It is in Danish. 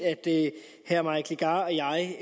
at herre mike legarth og jeg